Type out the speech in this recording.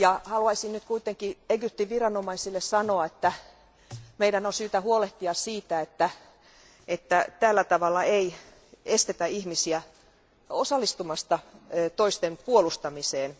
Haluaisin nyt Egyptin viranomaisille sanoa, että meidän on syytä huolehtia siitä, että tällä tavalla ei estetä ihmisiä osallistumasta toisten puolustamiseen.